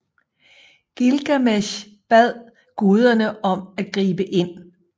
Gilgamesh bad guderne om at gribe ind